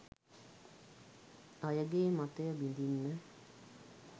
අයගේ මතය බිඳින්න